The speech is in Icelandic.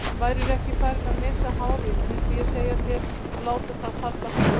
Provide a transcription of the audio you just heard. Værirðu ekki farinn að missa hárið mundið ég segja þér að láta það falla frjálst.